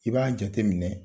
I b'a jateminɛ